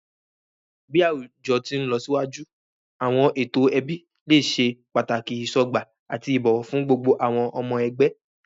Bi awujọ ti nlọsiwaju, awọn eto ẹbi le ṣe pataki isọgba ati ibowo fun gbogbo awọn ọmọ ẹgbẹ.